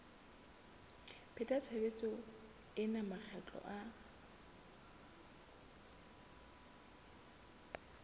pheta tshebetso ena makgetlo a